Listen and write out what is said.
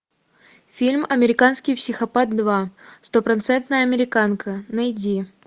фильм американский психопат два стопроцентная американка найди